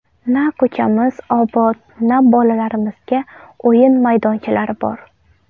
Na ko‘chamiz obod, na bolalarimizga o‘yin maydonchalari bor.